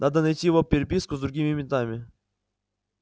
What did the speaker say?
надо найти его переписку с другими ментами